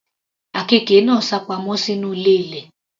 Àkekè náà sápamọ́ sínú ilé ilẹ̀.